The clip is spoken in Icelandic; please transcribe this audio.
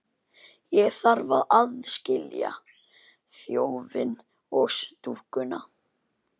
Ég þarf að aðskilja þjófinn og dúkkuna.